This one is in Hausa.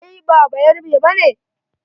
Kai ba bayarabe ba ne?